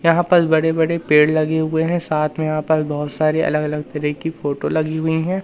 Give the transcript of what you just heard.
यहां पर बड़े बड़े पेड़ लगे हुए हैं साथ मे यहां पर बहोत सारे अलग अलग तरह की फोटो लगी हुई हैं।